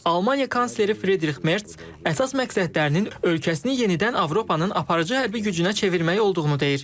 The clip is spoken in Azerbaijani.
Almaniya kansleri Fridrix Mert əsas məqsədlərinin ölkəsini yenidən Avropanın aparıcı hərbi gücünə çevirmək olduğunu deyir.